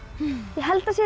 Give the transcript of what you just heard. ég held að séu